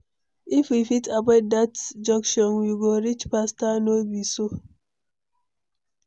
If we fit avoid dat junction, we go reach faster, no be so?